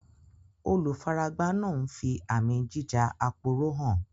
Olùfaragbá náà ń fi àmì jíja-aporó hàn